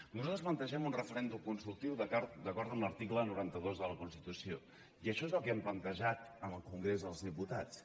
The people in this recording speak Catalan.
nosaltres plantegem un referèndum consultiu d’acord amb l’article noranta dos de la constitució i això és el que hem plantejat en el congrés dels diputats